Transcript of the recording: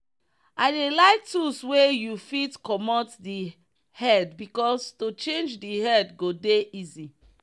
i dey like tools wey you fit comot the headbecause to change the hand go dey easy.